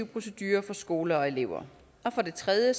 procedurer for skoler og elever og for det tredje